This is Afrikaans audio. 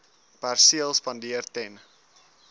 perseel spandeer ten